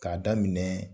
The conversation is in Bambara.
K'a daminɛ